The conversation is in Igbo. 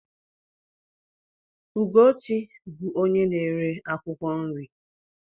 Ugochi bú onye na-ere akwụkwọ nri